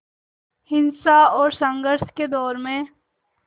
हिंसा और संघर्ष के दौर में